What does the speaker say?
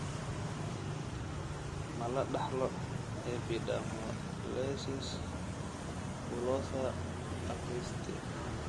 Ma la dhaxlo epidermolysis bullosa acquisita?